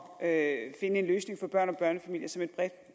at finde en løsning for børn og børnefamilier som et bredt